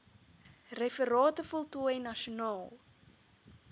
referate voltooi nasionaal